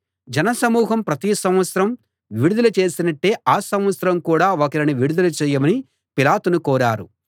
జన సమూహం ప్రతి సంవత్సరం విడుదల చేసినట్టే ఆ సంవత్సరం కూడా ఒకరిని విడుదల చేయమని పిలాతును కోరారు